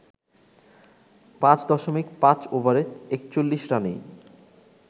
৫.৫ ওভারে ৪১ রানেই